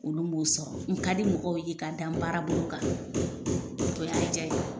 Olu b'o sɔrɔ, n ka di mɔgɔw ye ka dan n baara bolo kan, o y'a diya ye.